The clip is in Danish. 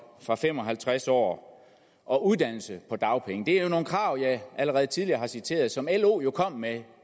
fra fem og halvtreds år og uddannelse på dagpenge det er jo nogle krav jeg allerede tidligere har citeret og som lo jo kom med